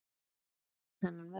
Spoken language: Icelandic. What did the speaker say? Hann elskar þennan völl.